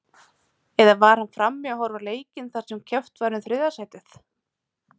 Eða var hann frammi að horfa á leikinn þar sem keppt var um þriðja sætið?